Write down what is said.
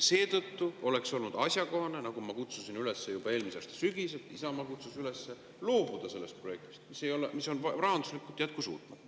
Seetõttu oleks olnud asjakohane – nagu ma kutsusin üles juba eelmise aasta sügisel, Isamaa kutsus üles – loobuda sellest projektist, mis on rahanduslikult jätkusuutmatu.